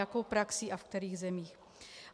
Jakou praxí a ve kterých zemích.